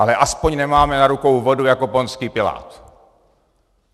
Ale aspoň nemáme na rukou vodu, jako Pontský Pilát.